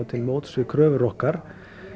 til móts við kröfur okkar